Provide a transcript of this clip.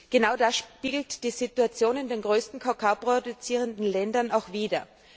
Genau das spiegelt die Situation in den größten kakaoproduzierenden Ländern auch wieder.